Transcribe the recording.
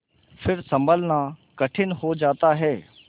फिर सँभलना कठिन हो जाता है